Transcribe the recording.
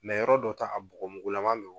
yɔrɔ dɔ ta a bɔgɔmugulama don